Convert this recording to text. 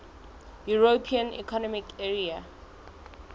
european economic area